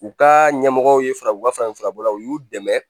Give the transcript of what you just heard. U ka ɲɛmɔgɔw ye fara u ka farafin furako la u y'u dɛmɛ